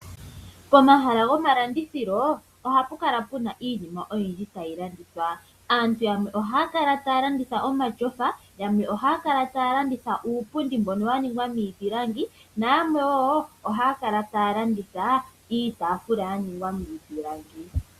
Pomahala goma landithilo ohapu kala iinima oyindji ta yi landithwa. Aantu yamwe ohaya kala taya landitha omatyofa, yamwe ohaya kala taya landitha uupundi mbono wa ningwa niipilangi nayamwe woo ohaya kala taya landitha iitaafula yaningwa miipilangi.